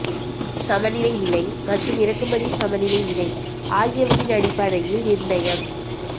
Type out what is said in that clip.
சமநிலை விலை மற்றும் இறக்குமதி சமநிலை விலை ஆகியவற்றின் அடிப்படையில் நிர்ணயம்